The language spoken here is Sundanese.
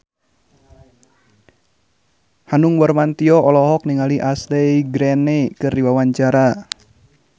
Hanung Bramantyo olohok ningali Ashley Greene keur diwawancara